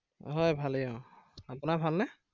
হয় ভালেই আহ আপোনাৰ ভাল নে?